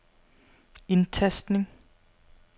indtastning